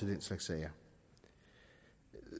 den slags sager